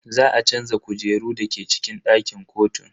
Za a canza kujeru dake cikin dakin kotun.